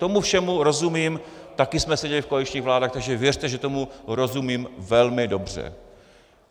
Tomu všemu rozumím, také jsme seděli v koaličních vládách, takže věřte, že tomu rozumím velmi dobře.